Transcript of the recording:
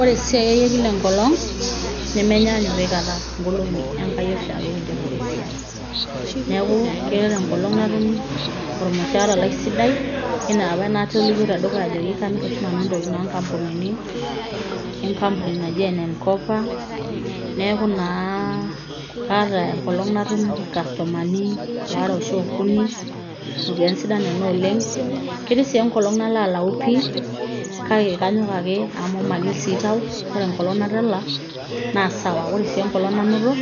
Ore esiai ai ekila enkolong' nemenyaanyuk aikata ing'olong'i enkai oshiake kinteru esiai, neeku keata enkolong' natum olmushaara lai sidai, enaapa naatolimuo tedukuya ajoki kamir oshi nanu intokitin oo nkampunini e nkampunini naji ene m kopa aa kaata enkolong' natum ilkastomani waare arashu okuni iropiyiani sidai nena oleng',ketii sii enkolong' nalo alayu pii kake kanyok amu magil sii tau, ore enkolong' natala naa sawa, ore sii enkolong' nainoto